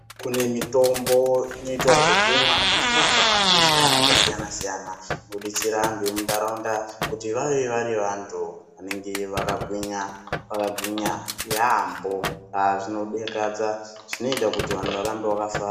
Kune mitombo inoitwa zvekumwa inorapa matenda akasiyana siyana kudetsera antu emunharaunda kuti vave vari vantu vanenge vakagwinya yaemho zvinodekadza zvinoita kuti vantu varambe vakafara.